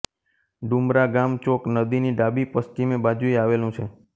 ડુમરા ગામ ચોક નદીની ડાબી પશ્ચિમે બાજુએ આવેલું છે